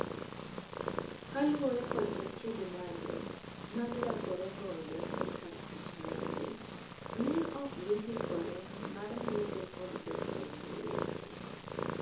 Kaluore kod achiedh nade ma girakore goto ekartich margi ,ne ok gihikore mar loso kod jofwamb weche.